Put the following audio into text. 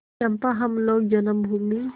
चंपा हम लोग जन्मभूमि